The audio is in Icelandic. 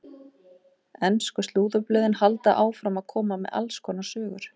Ensku slúðurblöðin halda áfram að koma með alls konar sögur.